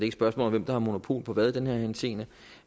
et spørgsmål om hvem der har monopol på hvad i den her henseende